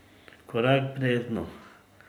Korak v brezno.